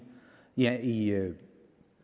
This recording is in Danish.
jer i